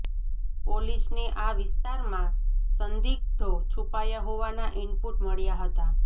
પોલીસને આ વિસ્તારમાં સંદિગ્ધો છૂપાયા હોવાના ઇનપુટ મળ્યા હતા